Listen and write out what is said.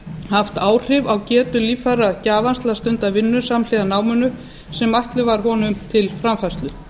haft áhrif á getu líffæragjafans til að stunda vinnu samhliða náminu sem ætluð var honum til framfærslu